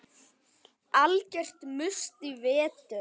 Algjört must í vetur.